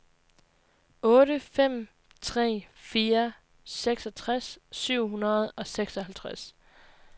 otte fem tre fire seksogtres syv hundrede og seksoghalvtreds